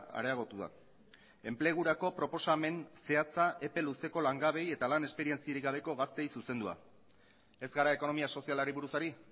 areagotu da enplegurako proposamen zehatza epe luzeko langabeei eta lan esperientziarik gabeko gazteei zuzendua ez gara ekonomia sozialari buruz ari